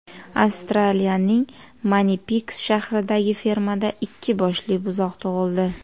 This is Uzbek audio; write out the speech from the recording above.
Avstraliyaning Manipiks shahridagi fermada ikki boshli buzoq tug‘ildi.